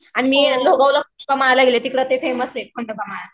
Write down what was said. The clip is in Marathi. हां मी ला तिकडे खंडोबा ला गेले तिकडे फेमस आहे खंडोबा माळ.